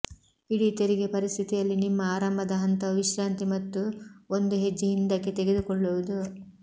ಇಡೀ ತೆರಿಗೆ ಪರಿಸ್ಥಿತಿಯಲ್ಲಿ ನಿಮ್ಮ ಆರಂಭದ ಹಂತವು ವಿಶ್ರಾಂತಿ ಮತ್ತು ಒಂದು ಹೆಜ್ಜೆ ಹಿಂದಕ್ಕೆ ತೆಗೆದುಕೊಳ್ಳುವುದು